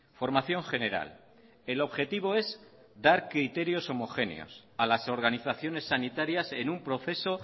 formación general el objetivo es dar criterios homogéneos a las organizaciones sanitarias en un proceso